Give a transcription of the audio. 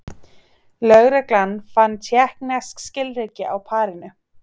Lögreglan fann tékknesk skilríki á parinu